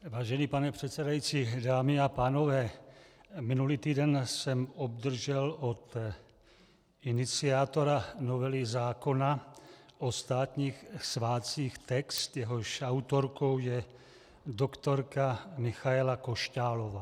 Vážený pane předsedající, dámy a pánové, minulý týden jsem obdržel od iniciátora novely zákona o státních svátcích text, jehož autorkou je doktorka Michaela Košťálová.